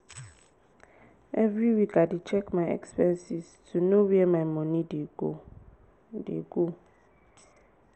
every week i dey check my expenses to know where my money dey go. dey go.